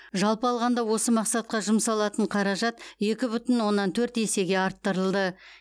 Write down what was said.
жалпы алғанда осы мақсатқа жұмсалатын қаражат екі бүтін оннан төрт есеге арттырылды